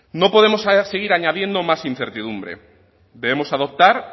no podemos seguir añadiendo más incertidumbre debemos adoptar